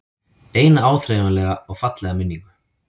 Eina áþreifanlega og fallega minningu.